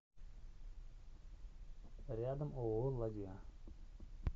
рядом ооо ладья